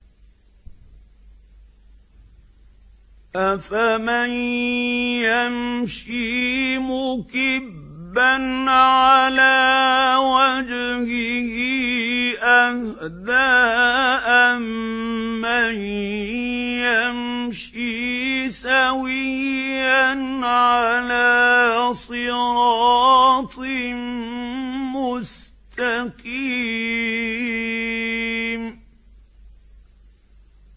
أَفَمَن يَمْشِي مُكِبًّا عَلَىٰ وَجْهِهِ أَهْدَىٰ أَمَّن يَمْشِي سَوِيًّا عَلَىٰ صِرَاطٍ مُّسْتَقِيمٍ